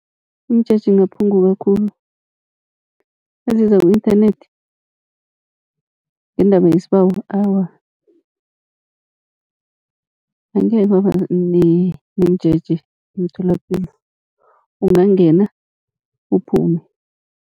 Imijeje ingaphunguka khulu naziza ku-inthanethi ngendaba yesibawo, awa angekhe kwaba nemijeje emtholapilo ungangena uphume